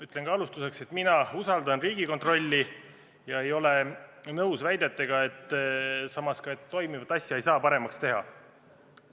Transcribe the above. Ütlen ka alustuseks, et mina usaldan Riigikontrolli ega ole nõus väidetega, et toimivat asja ei saa paremaks teha.